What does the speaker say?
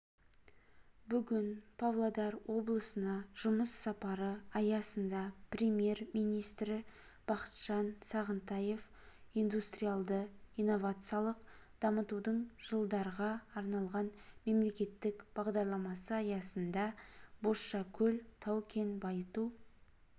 бүгін павлодар облысына жұмыс сапары аясында премьер-министрі бақытжан сағынтаев индустриалды-инновациялық дамытудың жылдарға арналған мемлекеттік бағдарламасы аясында бозшакөл тау-кен байыту